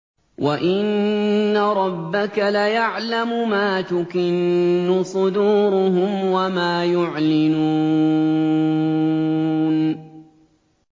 وَإِنَّ رَبَّكَ لَيَعْلَمُ مَا تُكِنُّ صُدُورُهُمْ وَمَا يُعْلِنُونَ